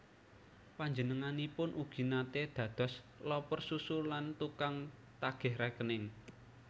Panjenenganipun ugi naté dados loper susu lan tukang tagih rékening